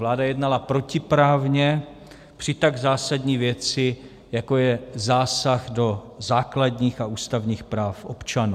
Vláda jednala protiprávně při tak zásadní věci, jako je zásah do základních a ústavních práv občanů.